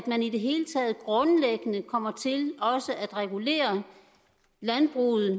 at man i det hele taget grundlæggende kommer til også at regulere landbruget